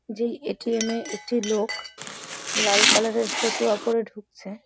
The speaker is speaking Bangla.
যেই এ.টি.এম. -এ একটি লোক লাল কালার -এর ফতুয়া পরে ঢুকছে ।